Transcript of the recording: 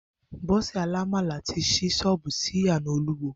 Bó̩sè̩ alámàlà ti s̩í s̩ó̩ò̩bù oúnje̩ sí ìyànà Olúwo